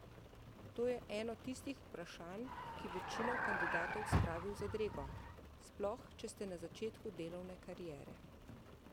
To je eno tistih vprašanj, ki večino kandidatov spravi v zadrego, sploh če ste na začetku delovne kariere.